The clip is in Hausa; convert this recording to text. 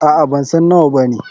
Aa.bansan nawa bane.